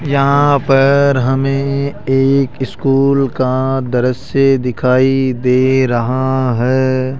यहाँ पर हमें एक स्कूल का दृश्य दिखाइ दे रहा है।